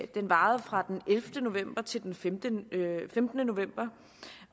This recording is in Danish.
den varede fra den ellevte november til den femtende femtende november